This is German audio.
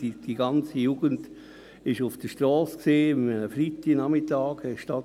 die ganze Jugend war an einem Freitagnachmittag auf der Strasse.